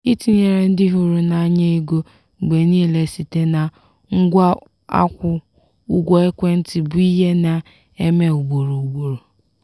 itinyere ndị ịhụrụ n'anya ego mgbe niile site na ngwa akwụ ụgwọ ekwentị bụ ihe na-eme ugboro ugboro.